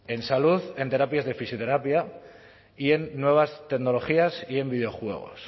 en salud en terapias de fisioterapia y en nuevas tecnologías y en videojuegos